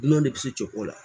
Dunanw de bɛ se cɛ ko la